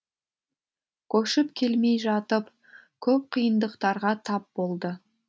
көшіп келмей жатып көп қиындықтарға тап болды